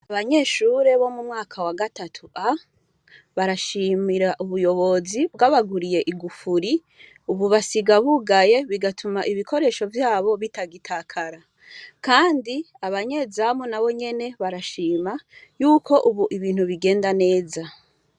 Abanyeshure bomumwaka wa gatatu A barashimira ubuyobozi bwabaguriye igufuri ubu basiga bugaye bigatuma ibikoresho vyabo bitagitakara kandi abanyezamu nabonyene barashima yuko ubu ibintu bigenda neza